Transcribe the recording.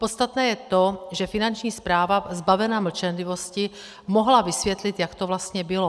Podstatné je to, že Finanční správa zbavena mlčenlivosti mohla vysvětlit, jak to vlastně bylo.